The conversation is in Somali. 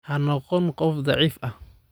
Ha noqon qof daciif ah